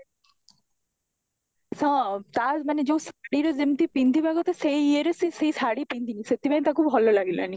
ହଁ ତା ମାନେ ଶାଢୀ ର ଯେମିତି ପିନ୍ଧିବା କଥା ସେଈ ଈଏ ରେ ସେ ସେଇ ଶାଢ଼ୀ ପିନ୍ଧିନି ସେଥିପାଇଁ ତାକୁ ଭଲ ଲାଗିଲାନି